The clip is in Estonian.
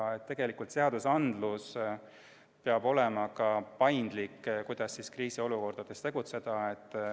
Nii et tegelikult peab ka seadusandlus olema paindlik, kuidas kriisiolukordades tegutseda.